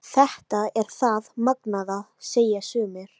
Þetta er það magnaða, segja sumir.